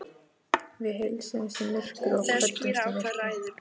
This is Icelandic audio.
Við heilsuðumst í myrkri og kvöddumst í myrkri.